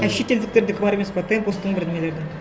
а шетелдіктердікі бар емес пе темпостың бір нелердің